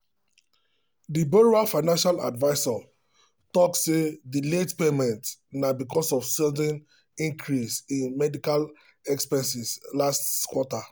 the borrower financial advisor talk say the late payment na because of sudden increase in medical expenses last quarter.